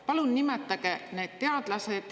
Palun nimetage need teadlased.